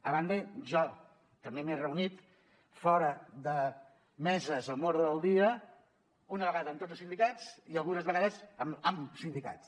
a banda jo també m’he reunit fora de meses amb ordre del dia una vegada amb tot els sindicats i algunes vegades amb sindicats